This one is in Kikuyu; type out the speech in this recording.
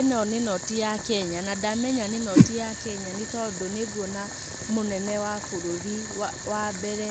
Ĩno nĩ noti ya Kenya. Na ndamenya nĩ noti ya Kenya nĩ tondũ nĩ nguona mũnene w bũrũri wa mbere